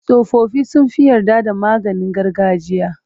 Tsofaffi sun fi yarda da maganin gargajiya.